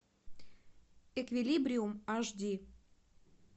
эквилибриум аш ди